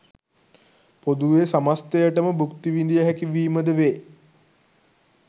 පොදුවේ සමස්තයට ම භුක්ති විඳිය හැකි වීම ද වේ.